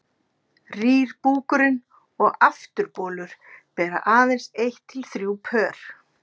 rýr búkurinn og afturbolur bera aðeins eitt til þrjú pör